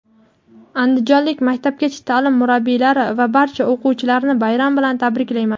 andijonlik maktabgacha taʼlim murabbiylari va barcha o‘qituvchilarni bayram bilan tabriklayman.